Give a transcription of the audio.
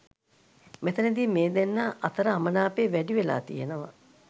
මෙතැනදී මේ දෙන්නා අතර අමනාපය වැඩි වෙලා තියනවා.